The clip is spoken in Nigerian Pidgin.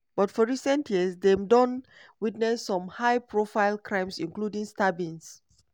but for recent years dem don witness some high-profile crimes including stabbings.